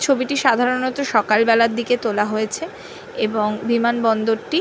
ছবিটি সাধারণত সকালবেলার দিকে তোলা হয়েছে এবং বিমানবন্দরটি--